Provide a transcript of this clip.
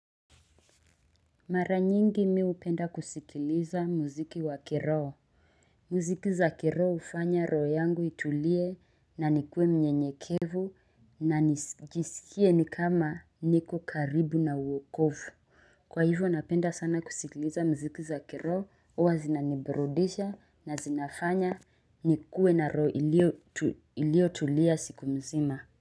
Mara nyingi mi hupenda kusikiliza muziki wa kiroho muziki za kiroho hufanya roho yangu itulie na nikuwe mnyenyekevu na nijisikie ni kama niko karibu na wokovu kwa hivyo napenda sana kusikiliza muziki za kiroho huwa zinaniburudisha na zinafanya nikuwe na roho iliyotulia siku mzima.